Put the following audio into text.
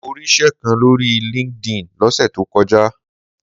Mo ríṣẹ́ kan lórí LinkedIn lọ́sẹ̀ tó kọjá.